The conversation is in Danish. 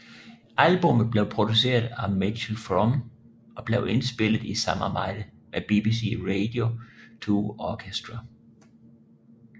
Albummet blev produceret af Mitchell Froom og blev indspillet i samarbejde med BBC Radio 2 Orchestra